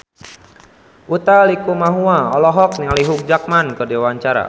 Utha Likumahua olohok ningali Hugh Jackman keur diwawancara